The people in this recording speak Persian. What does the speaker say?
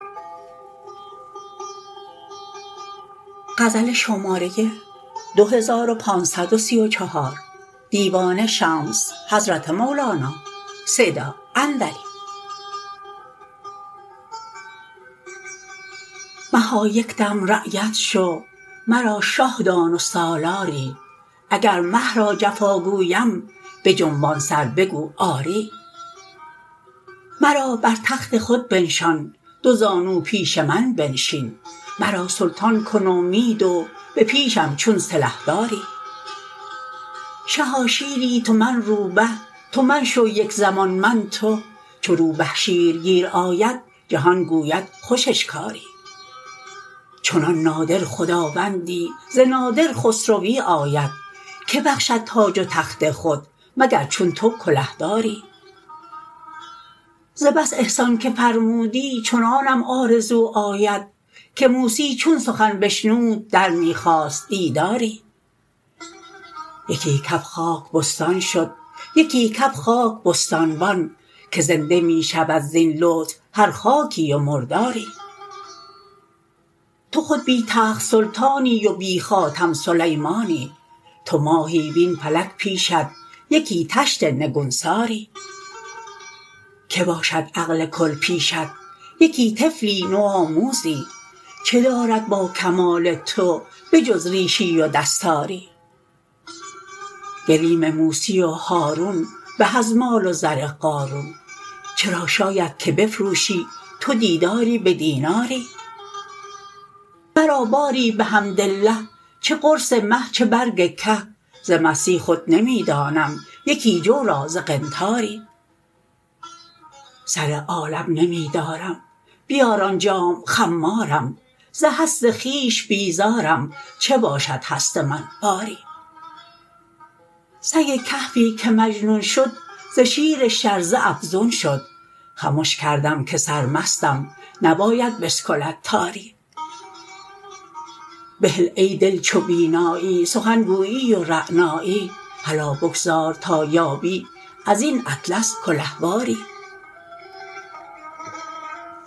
مها یک دم رعیت شو مرا شه دان و سالاری اگر مه را جفا گویم بجنبان سر بگو آری مرا بر تخت خود بنشان دوزانو پیش من بنشین مرا سلطان کن و می دو به پیشم چون سلحداری شها شیری تو من روبه تو من شو یک زمان من تو چو روبه شیرگیر آید جهان گوید خوش اشکاری چنان نادر خداوندی ز نادر خسروی آید که بخشد تاج و تخت خود مگر چون تو کلهداری ز بس احسان که فرمودی چنانم آرزو آمد که موسی چون سخن بشنود در می خواست دیداری یکی کف خاک بستان شد یکی کف خاک بستانبان که زنده می شود زین لطف هر خاکی و مرداری تو خود بی تخت سلطانی و بی خاتم سلیمانی تو ماهی وین فلک پیشت یکی طشت نگوساری کی باشد عقل کل پیشت یکی طفلی نوآموزی چه دارد با کمال تو به جز ریشی و دستاری گلیم موسی و هارون به از مال و زر قارون چرا شاید که بفروشی تو دیداری به دیناری مرا باری بحمدالله چه قرص مه چه برگ که ز مستی خود نمی دانم یکی جو را ز قنطاری سر عالم نمی دارم بیار آن جام خمارم ز هست خویش بیزارم چه باشد هست من باری سگ کهفی که مجنون شد ز شیر شرزه افزون شد خمش کردم که سرمستم نباید بسکلد تاری بهل ای دل چو بینایی سخن گویی و رعنایی هلا بگذار تا یابی از این اطلس کلهواری